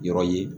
Yɔrɔ ye